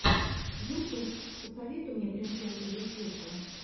ютуб посоветуй мне принцессу зефирку